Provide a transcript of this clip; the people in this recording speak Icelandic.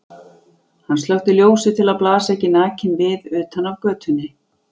Hann slökkti ljósið til að blasa ekki nakinn við utan af götunni.